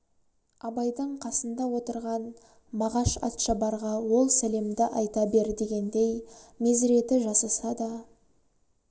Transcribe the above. абайдың қасында отырған мағаш атшабарға ол сәлемді айта бер дегендей мезіреті жасаса да